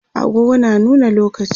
agogo na nuna lokaci